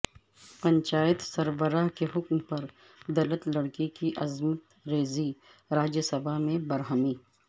پنچایت سربراہ کے حکم پر دلت لڑکی کی عصمت ریزی راجیہ سبھا میں برہمی